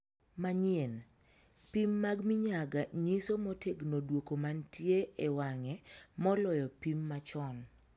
Manyien. Pim mag minyaga nyiso motegno duoko mantie ewang'e moloyo pim machon.